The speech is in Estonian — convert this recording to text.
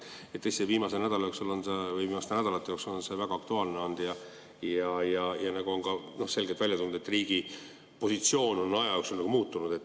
Tõesti, viimase nädala jooksul või viimaste nädalate jooksul on see väga aktuaalne olnud ja nagu on ka selgelt välja tulnud, et riigi positsioon on aja jooksul muutunud.